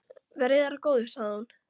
Verði þér að góðu, sagði hún.